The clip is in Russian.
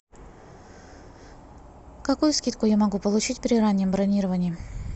какую скидку я могу получить при раннем бронировании